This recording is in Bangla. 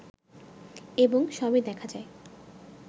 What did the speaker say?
এবং সবই দেখা যায়